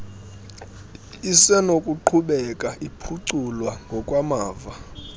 isenokuqhubeka iphuculwa ngokwamava